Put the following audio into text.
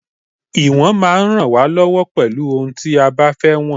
Ìwọ̀n máa ń rán wa lọwọ pelu òhun tí a bá fẹ́ wọn